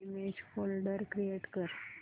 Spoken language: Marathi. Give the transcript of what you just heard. इमेज फोल्डर क्रिएट कर